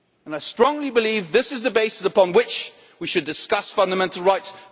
law. I strongly believe this is the basis upon which we should discuss fundamental rights.